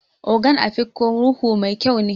Ogon Afikpo ruhu mai kyau ne.